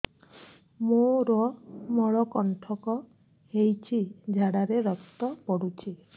ମୋରୋ ମଳକଣ୍ଟକ ହେଇଚି ଝାଡ଼ାରେ ରକ୍ତ ପଡୁଛି